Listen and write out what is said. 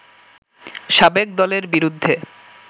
সাবেক দলের বিরুদ্ধে